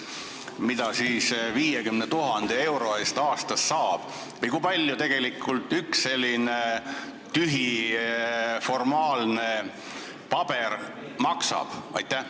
Mida siis 50 000 euro eest aastas saab või kui palju tegelikult üks selline tühi, formaalne paber maksab?